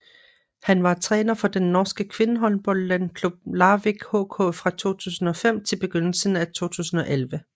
Han var træner for den norske kvindehåndboldklub Larvik HK fra 2005 til begyndelsen af 2011